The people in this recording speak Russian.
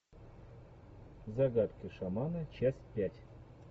загадки шамана часть пять